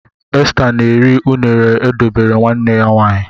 Esther na-eri unere e dobere nwanne ya nwanyị.